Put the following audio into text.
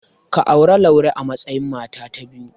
Ka auri Laure a matsayin mata ta biyu.